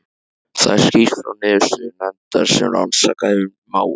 Þar er skýrt frá niðurstöðum nefndar sem rannsakað hefur mál